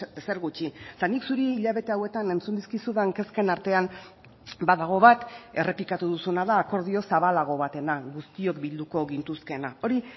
ezer gutxi eta nik zuri hilabete hauetan entzun dizkizudan kezken artean badago bat errepikatu duzuna da akordio zabalago batena guztiok bilduko gintuzkeena hori